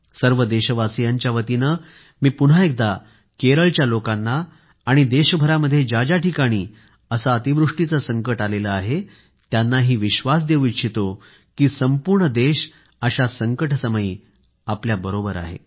सर्व देशवासियांच्या वतीने मी पुन्हा एकदा केरळच्या लोकांना आणि देशभरामध्ये ज्या ज्या ठिकाणी असे अतिवृष्टीचे संकट आले आहे त्यांनाही विश्वास देऊ इच्छितो की संपूर्ण देश अशा संकटसमयी आपल्याबरोबर आहे